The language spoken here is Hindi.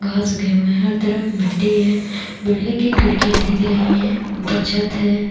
घास उगे हुए है हर तरफ मिट्टी ही है बिल्डिंग की खिड़कियाँ दिख रही है ऊपर छत है।